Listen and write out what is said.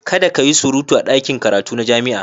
Kada ka yi surutu a ɗakin karatu na jami'a.